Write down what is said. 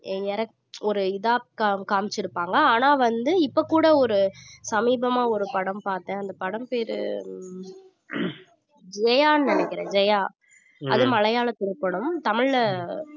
ஒரு இத காம்~ காமிச்சிருப்பாங்க ஆனா வந்து இப்ப கூட ஒரு சமீபமா ஒரு படம் பார்த்தேன் அந்த படம் பேரு ஜெயான்னு நினைக்குறேன் ஜெயா அது மலையாளத்துல ஒரு படம் தமிழ்ல